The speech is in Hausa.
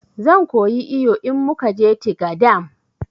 Zan koyi iyo in mukaje tiga dam